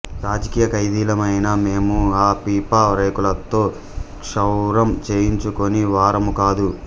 రాజకీయ ఖైదీలమైన మేము ఆ పీపా రేకులతో క్షౌరం చేయించుకొనే వారము కాదు